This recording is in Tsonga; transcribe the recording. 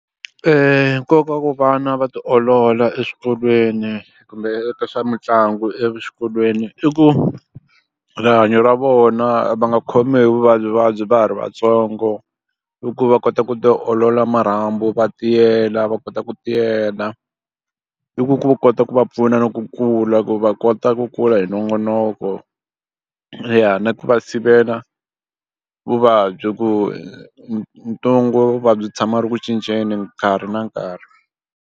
Nkoka wa ku vana va tiolola eswikolweni kumbe eka swa mitlangu exikolweni i ku rihanyo ra vona va nga khomiwi hi vuvabyivuvabyi va ha ri vatsongo i ku va kota ku tiolola marhambu va tiyela va kota ku tiyela i ku ku kota ku va pfuna na ku kula ku va kota ku kula hi nongonoko ya na ku va sivela vuvabyi ku ntungu vuvabyi tshama a ri ku cinceni nkarhi na nkarhi.